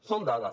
són dades